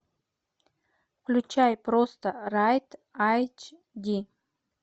включай просто райт айч ди